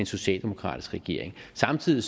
socialdemokratisk regering samtidig